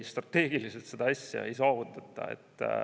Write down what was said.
Strateegiliselt seda asja nii ei saavutata.